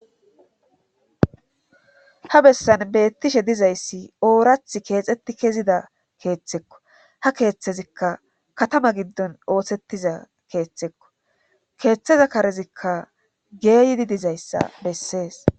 Ha bessan beettishe dizayssi oorath keexetti kezida keeththekko ha keeththezikka katama giddon ooththettiza keeththekko keeththeza karezikka geeyidi dizayssa bessees.